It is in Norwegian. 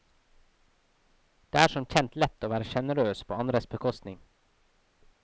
Det er som kjent lett å være generøs på andres bekostning.